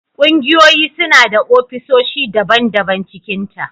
Kungiyoyi suna da ofisoshi daban- daban cikinta.